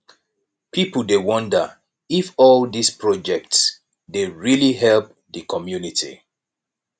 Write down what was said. pipo dey wonder if all dise projects dey really help di community